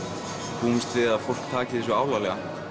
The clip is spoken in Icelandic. búumst við að fólk taki þessu alvarlega